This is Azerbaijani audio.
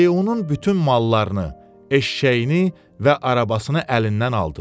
Leunun bütün mallarını, eşşəyini və arabasını əlindən aldılar.